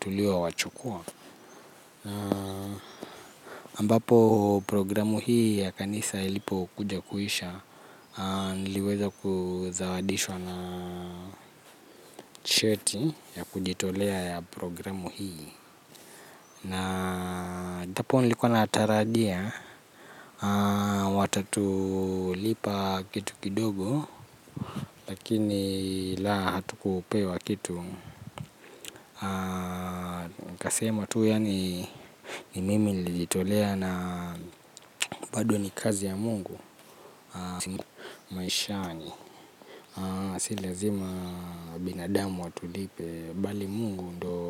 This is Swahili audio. tuliowachukua ambapo programu hii ya kanisa ilipokuja kuisha. Niliweza kuzawadishwa na cheti ya kujitolea ya programu hii. Na ijapo nilikuwa natarajia watatulipa kitu kidogo. Lakini la hatukupewa kitu. Kasema tu yaani ni mimi nilijitolea na bado ni kazi ya mungu. Maishani si lazima binadamu watulipe bali mungu ndio.